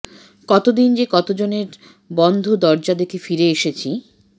কতোদিন যে কতোজনের বন্ধ দরোজা দেখে দেখে ফিরে এসেছি